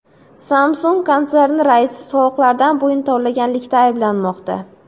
Samsung konserni raisi soliqlardan bo‘yin tovlaganlikda ayblanmoqda.